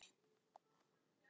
Hvað getur það gert?